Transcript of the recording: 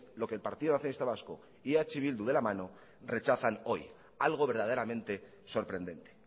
lo que el partido nacionalista vasco y eh bildu de la mano rechazan hoy algo verdaderamente sorprendente